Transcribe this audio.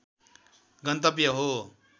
गन्तव्य हो